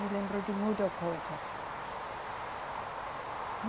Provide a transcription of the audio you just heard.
Me lembro de muita coisa.